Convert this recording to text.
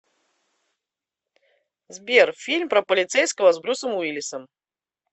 сбер фильм про полицейского с брюсом уиллисом